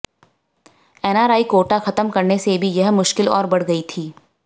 NRI quota खत्म करने से भी यह मुश्किल और बढ़ गई थी